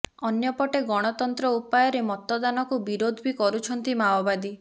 ଅନ୍ୟପଟେ ଗଣତାନ୍ତ୍ର ଉପାୟରେ ମତଦାନକୁ ବିରୋଧ ବି କରୁଛନ୍ତି ମାଓବାଦୀ